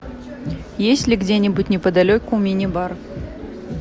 есть ли где нибудь неподалеку мини бар